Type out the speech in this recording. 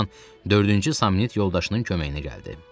Bu zaman dördüncü Samnit yoldaşının köməyinə gəldi.